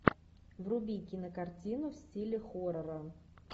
вруби кинокартину в стиле хоррора